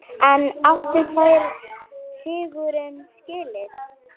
En áttu þeir sigurinn skilið?